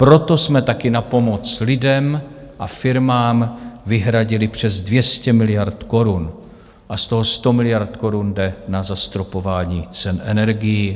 Proto jsme taky na pomoc lidem a firmám vyhradili přes 200 miliard korun a z toho 100 miliard korun jde na zastropování cen energií.